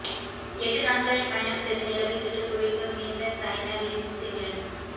எட்டு நாட்களில் பயணம் செய்து நிலவைச் சுற்றி புவிக்கு மீண்ட சைன விண்சிமிழ்